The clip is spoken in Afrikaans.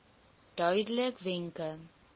duidelikwenke